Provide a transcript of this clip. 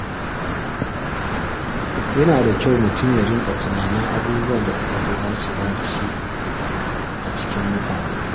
Yana da kyau mutum ya riƙa tunanin abubuwan da suka fi dacewa da shi a cikin mutane.